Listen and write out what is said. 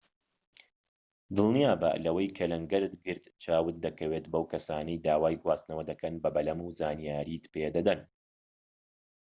دڵنیابە لەوەی کە لەنگەرت گرت چاوت دەکەوێت بەو کەسانەی داوای گواستنەوە دەکەن بە بەلەم و زانیاریت پێدەدەن